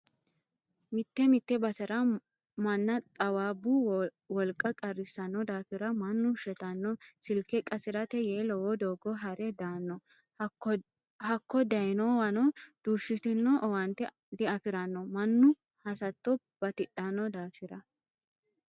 Mite mite basera manna xaawabbu wolqa qarrisano daafira mannu shettano ,silke qasirate yee lowo doogo hare daano hakko dayinowano duushitino owaante diafirano mannu hasatto batidhano daafira.